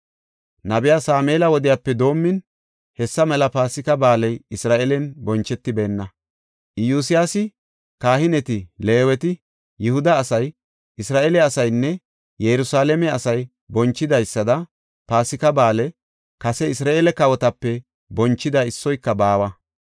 Nabiya Sameela wodiyape doomin, hessa mela Paasika Ba7aaley Isra7eelen bonchetibeenna. Iyosyaasi, kahineti, Leeweti, Yihuda asay, Isra7eele asaynne Yerusalaame asay bonchidaysada Paasika Ba7aale kase Isra7eele kawotape bonchida issoyka baawa.